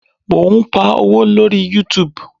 Mo ń pa owó lórí YouTube.